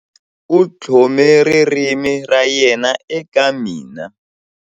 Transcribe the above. U tlhome ririmi ra yena eka mina.